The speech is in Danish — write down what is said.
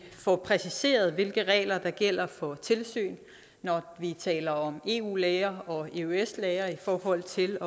får præciseret hvilke regler der gælder for tilsyn når vi taler om eu læger og eøs læger i forhold til